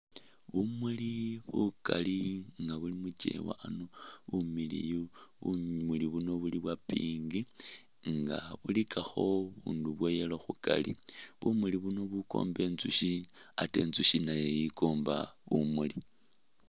Bumuuli bukaali nga buli mukyewa ano bumiliyu, bumuuli buno buli bwa'pink nga bilikakho bubundu bwa'yellow khukari, bumuuli buno bukomba intsushi ate intsushi nayo yikomba bumuuli